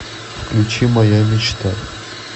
включи моя мечта